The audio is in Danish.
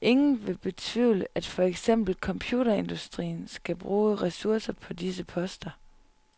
Ingen vil betvivle, at for eksempel computerindustrien skal bruge ressourcer på disse poster.